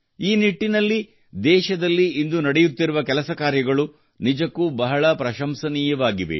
ಈ ನಿಟ್ಟಿನಲ್ಲಿ ದೇಶದಲ್ಲಿ ಇಂದು ನಡೆಯುತ್ತಿರುವ ಕೆಲಸ ಕಾರ್ಯಗಳು ನಿಜಕ್ಕೂ ಬಹಳ ಪ್ರಶಂಸನೀಯವಾಗಿವೆ